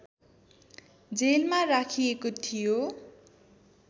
जेलमा राखिएको थियो